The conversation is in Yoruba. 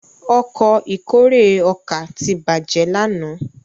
Ọkọ̀ ìkórè ọkà tí bàjé lànà